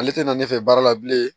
Ale tɛ na ne fɛ baara la bilen